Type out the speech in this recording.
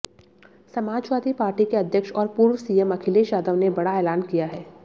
Samajwadi Party के अध्यक्ष और पूर्व सीएम अखिलेश यादव ने बड़ा ऐलान किया है